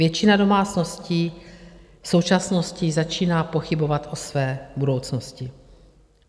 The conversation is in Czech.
Většina domácností v současnosti začíná pochybovat o své budoucnosti.